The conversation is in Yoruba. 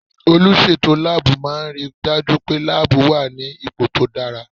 Olùsètò láàbù máà ń ri dájú pé láàbù wà ní ipò tó dára